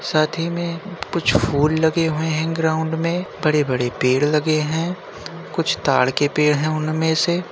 साथ ही में कुछ फूल लगे हुए हैं ग्राउंड में बड़े-बड़े पेड़ लगे हैं। कुछ ताड़ के पेड़ है उनमें से।